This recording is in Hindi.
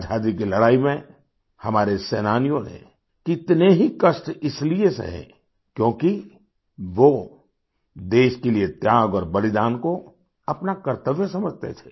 आज़ादी के लड़ाई में हमारे सेनानियों ने कितने ही कष्ट इसलिए सहे क्योंकि वो देश के लिए त्याग और बलिदान को अपना कर्तव्य समझते थे